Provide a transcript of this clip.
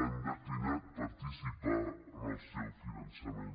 han declinat participar en el seu finançament